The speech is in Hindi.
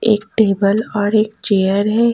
एक टेबल और एक चेयर है।